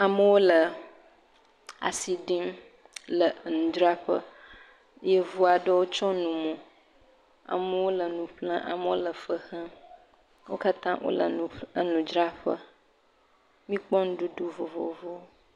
Amewo le asi ɖim le nudzraƒe, yevu aɖewo tsyɔ̃ nu mo, amewo le nu ƒlem amewo le fe xem wo katã wole nuƒl..enudzraƒe míekpɔ nuɖuɖu vovovowo.